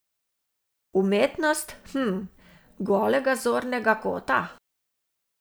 Umetnost z, hm, golega zornega kota?